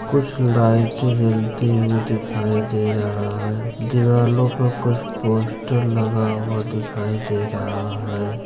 कुछ लाइटें जलती हुई दिखाई दे रहा है दीवालो पे कुछ पोस्टर लगा हुआ दिखाई दे रहा है।